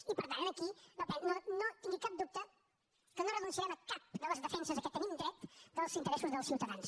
i per tant aquí no tingui cap dubte que no renunciarem a cap de les defenses a què tenim dret dels interessos dels ciutadans